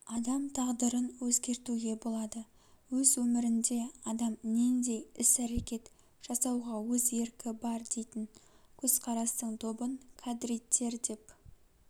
адам тағдырын өзгертуге болады өз өмірінде адам нендей іс-әрекет жасауға өз еркі бар дейтін көзқарастың тобын кадриттер деп